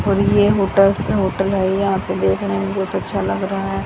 और ये होटस होटल है यहां पर देखने रहे हैं बहोत अच्छा लग रहा है।